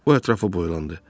O ətrafa boylandı.